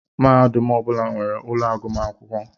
Mahadum ọbula nwèrè úlọ agụmakwụkwọ.